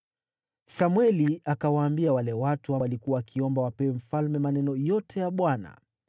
Samweli akawaambia wale watu waliokuwa wakiomba wapewe mfalme maneno yote ya Bwana .